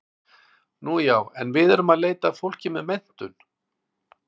Nú já, en við erum að leita að fólki með menntun.